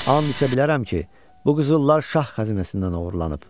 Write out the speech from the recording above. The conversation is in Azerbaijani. And içə bilərəm ki, bu qızıllar şah xəzinəsindən oğurlanıb.